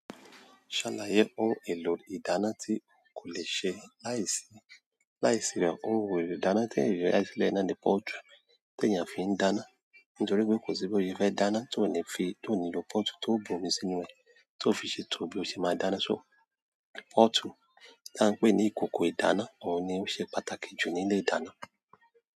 Ṣàlàyé ohun èlò ìdáná tí kò lè ṣe láìsí láìsí rẹ̀, ohun èlò ìdáná tí èròjà ìṣẹ̀lẹ̀ náà ni pọ́ọ̀tù tí èèyàn fi ń dáná. Nítorí pé kò sí bó ṣe fẹ dáná ti o ni lo pọọtu to bomi sínú rẹ to fi ṣètò bi o ṣe máa dáná so pọ́ọ̀tù tí à ń pè ní ìkòkò ìdáná, òun ni ó ṣe pàtàkì jù nílé ìdáná.